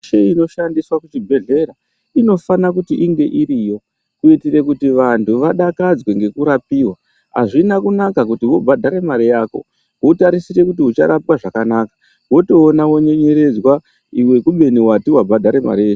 Michini inoshandiswa kuchibhedhlera inofana kunga iriyo, kuitira kuti vantu vadakadzwe ngekurapiwa. Hazvina kunaka kuti vobhadhara mari yako votarisira kuti ucharapwa zvakanaka votoona vonyenyeredzwa iwe kubeni vati vabhadhara mari yese.